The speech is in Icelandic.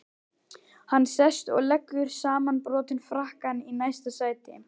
Hann sest og leggur samanbrotinn frakkann í næsta sæti.